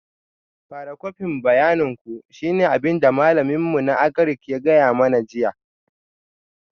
Fara kwafin bayanin ku shine abin da malamin mu na Agric ya gaya mana jiya